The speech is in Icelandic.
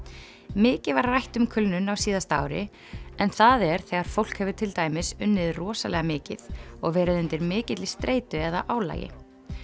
mikið var rætt um kulnun á síðasta ári en það er þegar fólk hefur til dæmis unnið rosalega mikið og verið undir mikilli streitu eða álagi